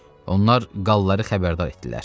Onlar qalları xəbərdar etdilər.